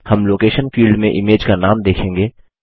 हम location field में image का नाम देखेंगे